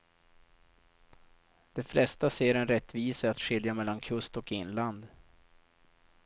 De flesta ser en rättvisa i att skilja mellan kust och inland.